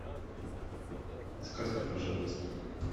сказка про жадность